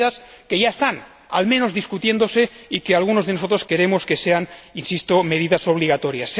Son medidas que ya están, al menos, discutiéndose y que algunos de nosotros queremos que sean, insisto, medidas obligatorias.